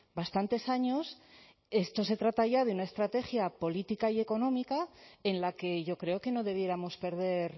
bastantes años esto se trata ya de una estrategia política y económica en la que yo creo que no debiéramos perder